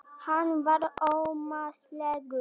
Hann var ómótstæðilegur.